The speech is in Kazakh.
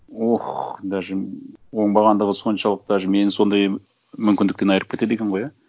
ох даже оңбағандығы соншалық даже мені сондай мүмкіндіктен айырып кетеді екен ғой иә